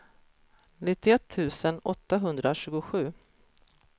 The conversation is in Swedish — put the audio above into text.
nittioett tusen åttahundratjugosju